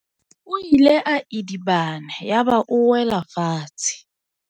O ile a idibana yaba o wela fatshe.